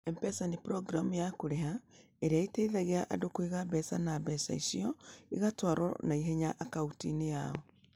M-Pesa nĩ programu ya kũrĩha ĩrĩa ĩteithagia andũ kũiga mbeca na mbeca icio igatwarwo na ihenya akaunti-inĩ yao.